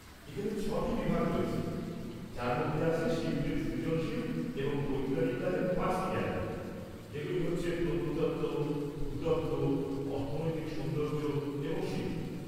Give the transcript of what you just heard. এখানে ছ'টি বিভাগ রয়েছে, যার মধ্যে আছে শিল্পের সৃজনশীল এবং বৈজ্ঞানিক কাজের পাঁচটি গ্যালারি, যেগুলি হচ্ছে প্রত্নতত্ত্ব, ভূতত্ত্ব, অর্থনৈতিক সৌন্দর্য এবং শিল্প।